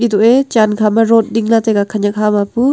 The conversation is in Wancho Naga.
eto e jankhama rot dingla taiga khanak hama pu.